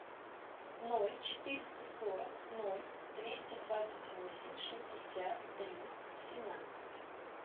ноль четыреста сорок ноль двести двадцать восемь шестьдесят три семнадцать